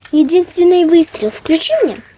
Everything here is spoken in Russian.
единственный выстрел включи мне